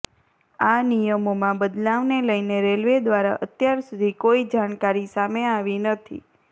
આ નિયમોમાં બદલાવને લઈને રેલવે દ્વારા અત્યાર સુધી કોઈ જાણકારી સામે આવી નથી